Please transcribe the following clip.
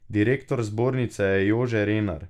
Direktor zbornice je Jože Renar.